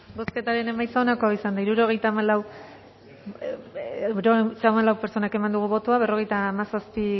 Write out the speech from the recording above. bozketaren emaitza onako izan da hirurogeita hamalau eman dugu bozka berrogeita hamazazpi